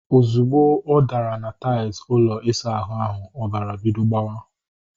Ozugbo ọ dara na tails ụlọ isa ahụ ahu, ọbara bidoro gbawa